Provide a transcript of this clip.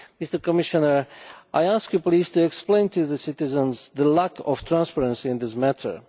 Mr Commissioner, I ask you please to explain to citizens the lack of transparency in this matter.